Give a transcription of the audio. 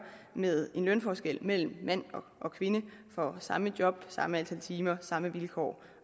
med en lønforskel mellem mand og kvinde for samme job samme antal timer samme vilkår